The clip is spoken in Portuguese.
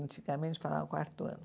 Antigamente falavam quarto ano.